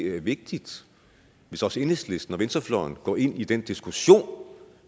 vigtigt hvis også enhedslisten og venstrefløjen går ind i den diskussion